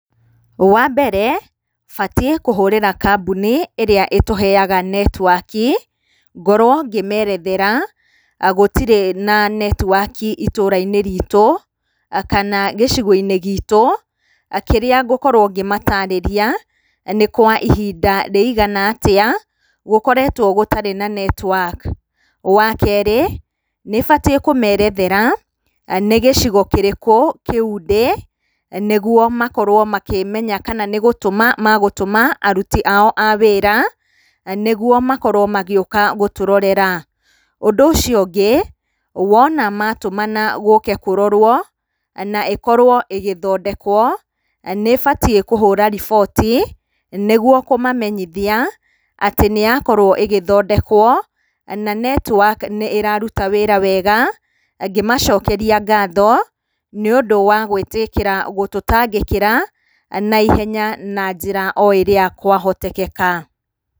Wa mbere, batiĩ kũhurĩra kambuni ĩrĩa ĩtũheaga netiwaki, ngorwo ngĩmeerethera gũtirĩ na netiwaki itũra-inĩ riitũ kana gĩcigo-inĩ giitũ, kĩrĩa ngĩkorwo ngĩmataarĩria nĩ kwa ihinda rĩigana atĩa gũkoretwo gũtarĩ na netiwaki. Wa kerĩ, nĩ batiĩ kũmerethera nĩ gĩcigo kĩrĩkũ kĩu ndĩ nĩguo makorwo makĩmenya kana nĩ gũtũma magũtũma aruti ao a wĩra nĩguo makorwo magĩũka gũtũrorera. Ũndũ ũcio ũngĩ, wona ma tũmana gũũke kũrorwo na ĩkorwo ĩgĩthondekwo, nĩ batiĩ kũhũra riboti, nĩguo kũmamenyithia atĩ nĩ yakorwo ĩgĩthondekwo na netiwaki nĩ ĩraruta wĩra wega, ngĩmacokeria ngatho nĩũndũ wa gũĩtĩkĩra gũtũtangĩkĩra naihenya na njĩra o ĩrĩa kwa hotekeka.